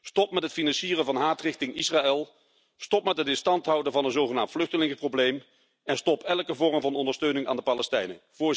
Stop met het financieren van haat richting Israël, stop met het in stand houden van een zogenaamd vluchtelingenprobleem en stop elke vorm van ondersteuning aan de Palestijnen.